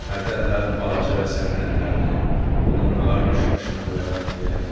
Hərdən də balaca və sərin əllərini onun ağarmış başına qoyaraq deyər: